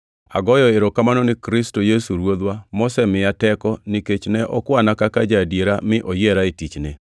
Agoyo erokamano ni Kristo Yesu Ruodhwa mosemiya teko nikech ne okwana kaka ja-adiera mi oyiera e tichne.